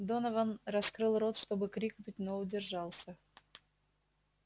донован раскрыл рот чтобы крикнуть но удержался